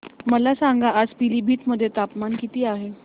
मला सांगा आज पिलीभीत मध्ये तापमान किती आहे